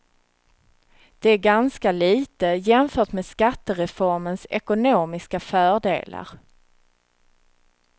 Det är ganska lite jämfört med skattereformens ekonomiska fördelar.